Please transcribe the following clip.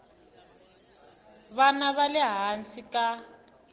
vana va le hansi ka